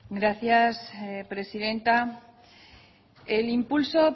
gracias presidenta el impulso